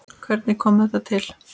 Hvernig kom þetta til?